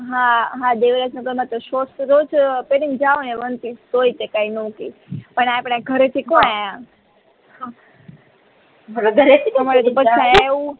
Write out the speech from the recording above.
હા આ દેવરાજનગર માં તો શોર્ટ્સ રોજ પેરી ને જાઓ ને વન પીસ તો એ તે કઈ નો કે પણ આપડે આ ઘરે થી કોણ અહિયાં